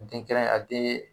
Den kɛrɛn a de